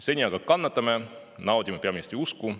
Seni aga kannatame ja naudime peaministri usku.